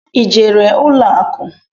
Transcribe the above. I jere ụlọ akụ?